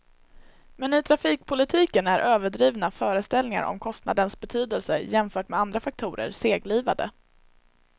Men i trafikpolitiken är överdrivna föreställningar om kostnadens betydelse jämfört med andra faktorer seglivade.